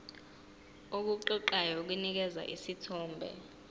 okuqoqayo kunikeza isithombe